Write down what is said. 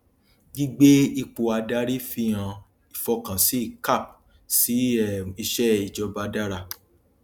gbígbé ipò àdarí fihàn ìfọkànsín cap sí um ìṣe ìjọba dára